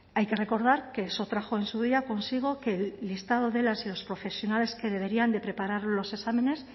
hay que recordar que se trajo en su día consigo que el listado de las y los profesionales que deberían de preparar los exámenes